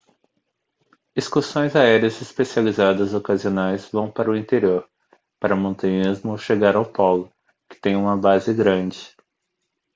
excursões aéreas especializadas ocasionais vão para o interior para montanhismo ou chegar ao polo que tem uma base grande